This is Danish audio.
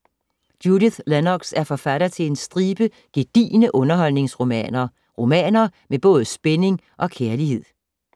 Judith Lennox er forfatter til en stribe gedigne underholdningsromaner. Romaner med både spænding og kærlighed.